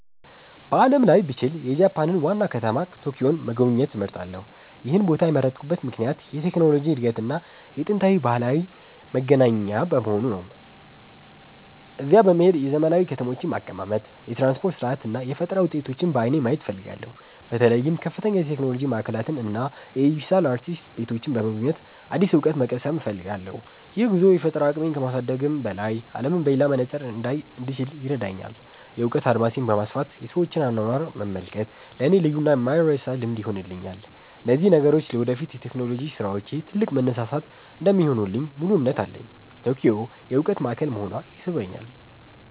በዓለም ላይ ብችል፣ የጃፓንን ዋና ከተማ ቶኪዮን መጎብኘት እመርጣለሁ። ይህን ቦታ የመረጥኩበት ምክንያት የቴክኖሎጂ እድገትና የጥንታዊ ባህል መገናኛ በመሆኑ ነው። እዚያ በመሄድ የዘመናዊ ከተሞችን አቀማመጥ፣ የትራንስፖርት ሥርዓት እና የፈጠራ ውጤቶችን በዓይኔ ማየት እፈልጋለሁ። በተለይም ከፍተኛ የቴክኖሎጂ ማዕከላትን እና የዲጂታል አርቲስት ቤቶችን በመጎብኘት አዲስ እውቀት መቅሰም እፈልጋለሁ። ይህ ጉዞ የፈጠራ አቅሜን ከማሳደግም በላይ፣ አለምን በሌላ መነጽር እንዳይ እንድችል ይረዳኛል። የእውቀት አድማሴን በማስፋት የሰዎችን አኗኗር መመልከት ለእኔ ልዩና የማይረሳ ልምድ ይሆንልኛል። እነዚህ ነገሮች ለወደፊት የቴክኖሎጂ ስራዎቼ ትልቅ መነሳሳት እንደሚሆኑልኝ ሙሉ እምነት አለኝ። ቶኪዮ የእውቀት ማዕከል መሆኗ ይስበኛል።